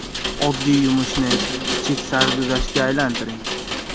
Oddiy yumushni, kichik sarguzashtga aylantiring.